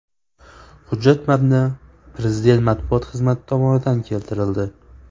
Hujjat matni Prezident matbuot xizmati tomonidan keltirildi .